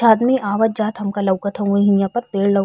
थादमी आवत जात हमका लउकत हउव हिहा पर। पेड़ लउ --